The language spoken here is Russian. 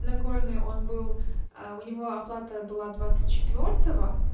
нагорный он был ээ у него оплата была двадцать четвёртого